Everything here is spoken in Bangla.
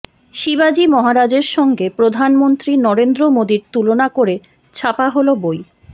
শিবাজী মহারাজের সঙ্গে প্রধানমন্ত্রী নরেন্দ্র মোদীর তুলনা করে ছাপা হল বই